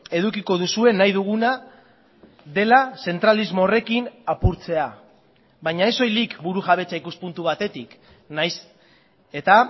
edukiko duzue nahi duguna dela zentralismo horrekin apurtzea baina ez soilik burujabetza ikuspuntu batetik nahiz eta